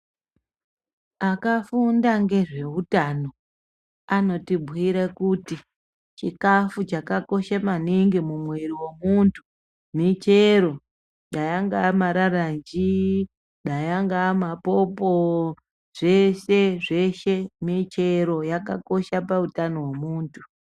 Akafunda ngezveutano anotibhuire kuti chikafu chakakoshe maningi mumwiiri wemuntu michero dai angae mararanjii dai angae mapopo zvese zveshe michero yakakosha pautano wemuntu